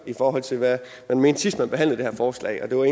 i forhold til hvad man mente sidst vi behandlede det her forslag det var